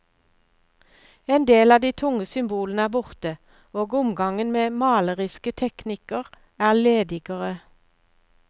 En del av de tunge symbolene er borte, og omgangen med maleriske teknikker er ledigere.